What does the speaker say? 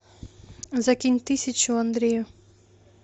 закинь тысячу андрею